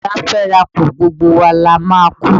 A kú ara fẹ́ rà kù, gbogbo wa la máa a kú.